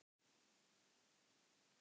En ég verð líka að lifa.